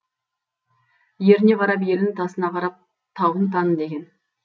еріне қарап елін тасына қарап тауын таны деген